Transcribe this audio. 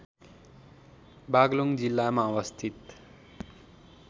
बागलुङ जिल्लामा अवस्थित